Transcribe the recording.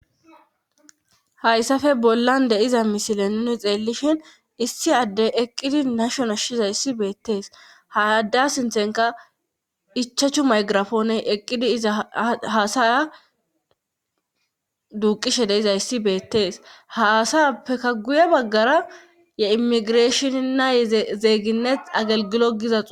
hayssafe bollan de'iza misile nuni xeellishin issi addey eqqidi nashona shiza yssi beettees hayadda sinthenka ichachu maygirafooney eqqidi iza haasaya duuqishe deizayssi beettees haasayappeka guye baggara ye immigireeshoninnay zeeyginnet agelgilo gizas